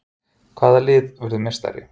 Hvaða lið verður meistari?